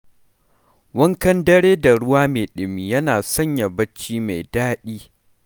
Wankan dare da ruwa mai ɗumi yana sanya bacci ya yi daɗi.